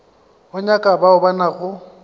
o nyaka bao ba nago